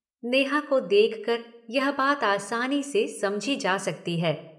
नेहा को देखकर यह बात आसानी से समझी जा सकती है।